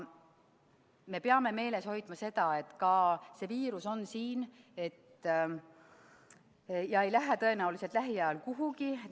Me peame meeles hoidma seda, et see viirus on siin ja tõenäoliselt ei kao see lähiajal kuhugi.